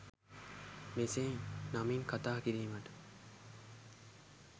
මෙසේ නමින් කථා කිරීමට